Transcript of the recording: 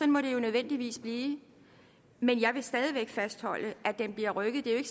må det jo nødvendigvis blive men jeg vil stadig væk fastholde at den bliver rykket det er jo